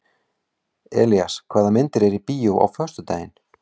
Elías, hvaða myndir eru í bíó á föstudaginn?